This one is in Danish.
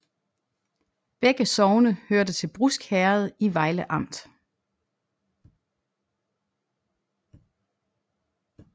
Begge sogne hørte til Brusk Herred i Vejle Amt